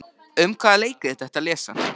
Um hvaða leikrit ertu að lesa?